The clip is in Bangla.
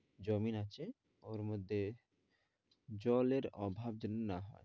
জমিন আছে, ওর মধ্যে জলের অভাব যেনো না হয়।